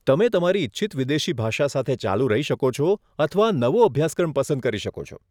તમે તમારી ઇચ્છિત વિદેશી ભાષા સાથે ચાલુ રહી શકો છો અથવા નવો અભ્યાસક્રમ પસંદ કરી શકો છો.